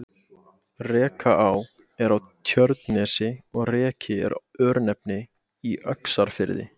Rekaá er á Tjörnesi og Reki er örnefni í Öxarfirði.